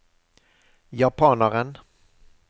japaneren